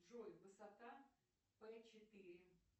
джой высота п четыре